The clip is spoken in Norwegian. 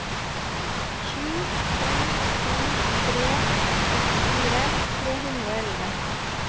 sju to to tre trettifire tre hundre og elleve